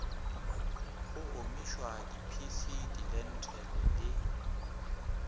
go omišwa diphisi dilenthele le